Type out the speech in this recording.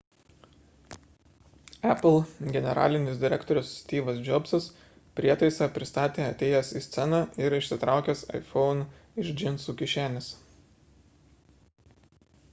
apple generalinis direktorius styvas džobsas prietaisą pristatė atėjęs į sceną ir išsitraukęs iphone iš džinsų kišenės